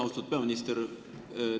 Austatud peaminister!